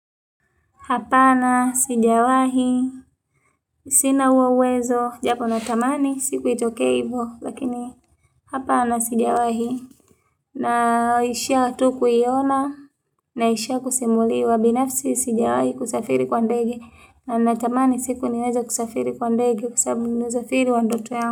Hapana, sijawahi, sina huo uwezo, japo natamani, siku itokee hivo, lakini, hapana, sijawahi, naishia tu kuiona, naishia kusimuliwa, binafsi, sijawahi, kusafiri kwa ndege, na natamani, siku niweze kusafiri kwa ndege, kwa sababu ni usafiri wa ndoto yangu.